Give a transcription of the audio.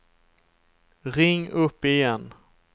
ring upp igen